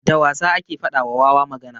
Da wasa ake faɗa wa wawa magana.